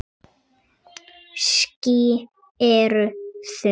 Ský eru þung.